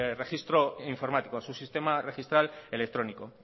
registro informático a su sistema registral electrónico